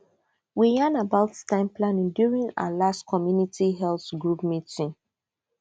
we yan about time planning during our last community health group meeting